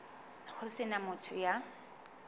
ho se na motho ya